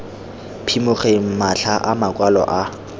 phimogeng matlha a makwalo a